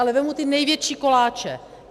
Ale vezmu ty největší koláče.